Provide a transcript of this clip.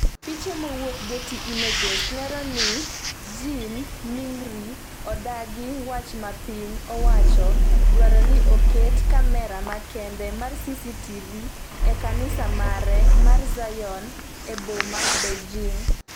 piche mowuok Getty images lero ni Jin Mingri odagi wach ma piny owacho dwaro ni oket kamera makende mar CCTV e Kanisa mare mar Zion e boma Beijing